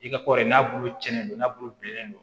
I ka kɔri n'a bulu cɛni don n'a bulu bilennen don